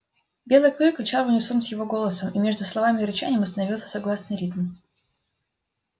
белый клык рычал в унисон с его голосом и между словами и рычанием установился согласный ритм